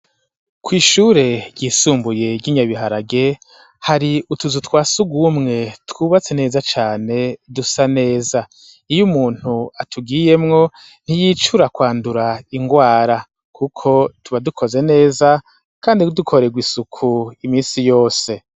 Kw'ishure ryisumbuye rya Nyabiharage hari utuzu twasugumwe twubatse neza cane dusa neza iyo umuntu atugiyemwo ntiyicura kwandura ingwara kuko tuba dukoze neza kandi dukorerwa isuku iminsi yose .